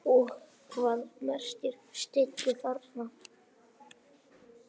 Og hvað merkir skeggi þarna?